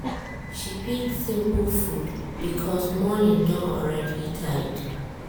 she pick simple food because morning don already tight.